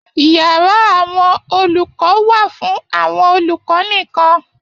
Yàrá àwọn olùkọ wà fún àwọn olùkọ nìkan.